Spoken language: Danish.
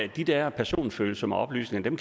de der personfølsomme oplysninger kan